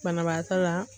Banabaatɔ la